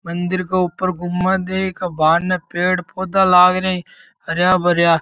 मंदिर के ऊपर गुम्बद है एक बाहर ने पेड़ पौधा लागरे हरया भरया।